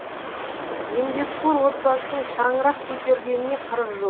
еңбекқор отбасының шаңырақ көтергеніне қырық жыл